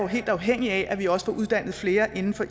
helt afhængig af at vi også får uddannet flere inden for